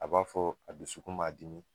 A b'a fɔ a dusu kun m'a dimi